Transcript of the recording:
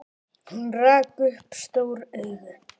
Hún rak upp stór augu.